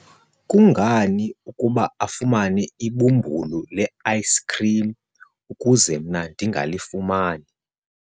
kungani ukuba afumane ibumbulu le-ayisikhrim ukuze mna ndingalifumani?